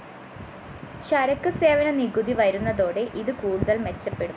ചരക്കു സേവന നികുതി വരുന്നതോടെ ഇത് കൂടുതല്‍ മെച്ചപ്പെടും